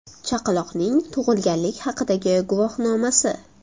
Chaqaloqning tug‘ilganlik haqidagi guvohnomasi.